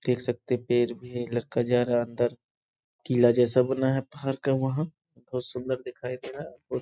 देख सकते हैं पेड़ भी है लड़का जा रहा हैं अंदर। किला जैसा बना है पहाड़ का वहाँ। बहुत सुन्दर दिखाई दे रहा है। वो --